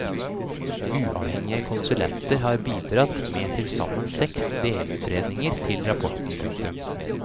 Uavhengige konsulenter har bidratt med tilsammen seks delutredninger til rapporten. punktum